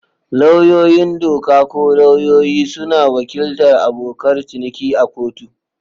Lauyoyin doka, ko lauyoyi, suna wakiltar abokan ciniki a kotu.